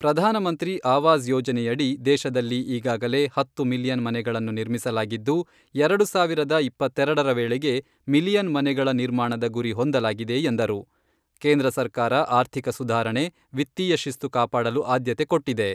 ಪ್ರಧಾನ ಮಂತ್ರಿ ಆವಾಸ್ ಯೋಜನೆಯಡಿ ದೇಶದಲ್ಲಿ ಈಗಾಗಲೇ ಹತ್ತು ಮಿಲಿಯನ್ ಮನೆಗಳನ್ನು ನಿರ್ಮಿಸಲಾಗಿದ್ದು, ಎರಡು ಸಾವಿರದ ಇಪ್ಪತ್ತೆರೆಡರ ವೇಳೆಗೆ ಮಿಲಿಯನ್ ಮನೆಗಳ ನಿರ್ಮಾಣದ ಗುರಿ ಹೊಂದಲಾಗಿದೆ ಎಂದರು.ಕೇಂದ್ರ ಸರ್ಕಾರ ಆರ್ಥಿಕ ಸುಧಾರಣೆ, ವಿತ್ತೀಯ ಶಿಸ್ತು ಕಾಪಾಡಲು ಆದ್ಯತೆ ಕೊಟ್ಟಿದೆ.